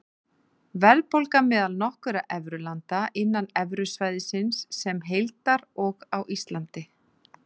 Verðbólga meðal nokkurra evrulanda, innan evrusvæðisins sem heildar og á Íslandi.